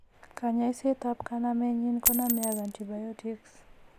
Konyoiset ap kanamenyin konome ag antibiotics.